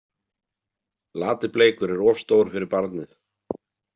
Lati- Bleikur er of stór fyrir barnið.